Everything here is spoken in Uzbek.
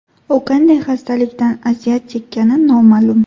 U qanday xastalikdan aziyat chekkani noma’lum.